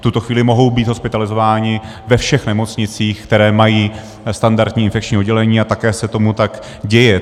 V tuto chvíli mohou být hospitalizováni ve všech nemocnicích, které mají standardní infekční oddělení, a také se tomu tak děje.